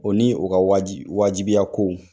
O ni o ka waji wajibiya kow